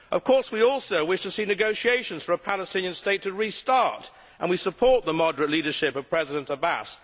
Of course we also wish to see negotiations for a Palestinian State to restart and we support the moderate leadership of President Abbas.